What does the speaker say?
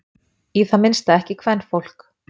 Í það minnsta ekki kvenfólk.